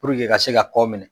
ka se ka kɔ minɛ